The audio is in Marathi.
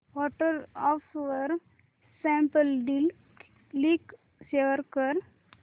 व्हॉट्सअॅप वर स्नॅपडील लिंक शेअर कर